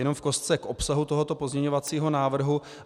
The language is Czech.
Jenom v kostce k obsahu tohoto pozměňovacího návrhu.